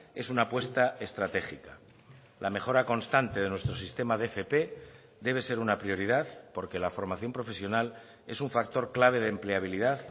es una apuesta estratégica la mejora constante de nuestro sistema de fp debe ser una prioridad porque la formación profesional es un factor clave de empleabilidad